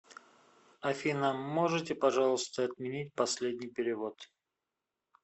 афина можете пожалуйста отменить последний перевод